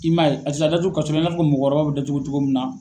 I m' aye a tɛ taa datugu kaso i na fɔ mɔgɔkɔrɔba bɛ datugu cogo min na.